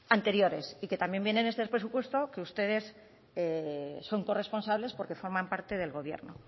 anteriores y que también viene en este presupuesto que ustedes son corresponsables porque forman parte del gobierno